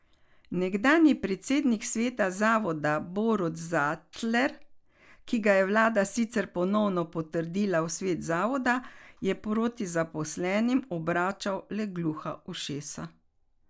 Nekdanji predsednik sveta zavoda Borut Zatler, ki ga je vlada sicer ponovno potrdila v svet zavoda, je proti zaposlenim obračal le gluha ušesa.